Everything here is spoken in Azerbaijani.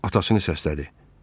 Atasını səslədi.